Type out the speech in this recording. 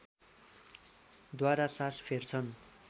द्वारा सास फेर्छन्